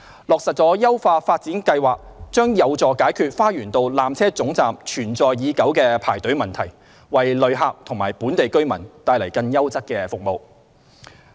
落實優化發展計劃將有助解決花園道纜車總站存在已久的排隊問題，為旅客及本地居民帶來更優質的服務。